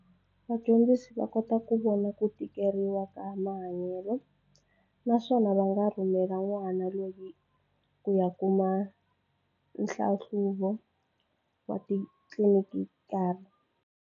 Vadyondzisi va kota ku vona ku tikeriwa ka mahanyelo naswona va nga rhumela n'wana loyi ku ya kuma nhlahluvo wa titlilinikali.